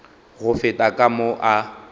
go feta ka mo a